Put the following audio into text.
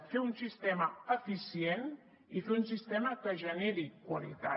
fer un sistema eficient i fer un sistema que generi qualitat